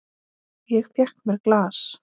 Ég fékk mér glas.